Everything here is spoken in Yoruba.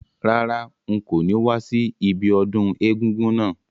Rárá, n ko ni wa si ibiodún egúngún náà